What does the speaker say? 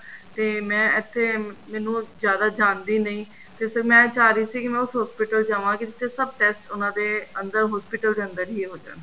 ਤੇ ਮੈਂ ਇੱਥੇ ਮੈਨੂੰ ਜਿਆਦਾ ਜਾਣਦੀ ਨਹੀਂ ਤੇ ਫ਼ਿਰ ਮੈਂ ਚਾਹ ਰਹੀ ਸੀ ਕੀ ਮੈਂ ਉਸ hospital ਜਾਵਾਂ ਜਿੱਥੇ ਸਭ test ਉਹਨਾ ਦੇ ਅੰਦਰ hospital ਦੇ ਅੰਦਰ ਹੀ ਹੋ ਜਾਣ